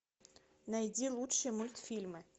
найди лучшие мультфильмы